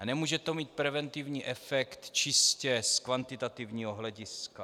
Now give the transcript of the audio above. A nemůže to mít preventivní efekt čistě z kvantitativního hlediska.